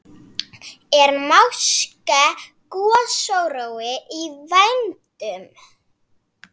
Er máske gosórói í vændum?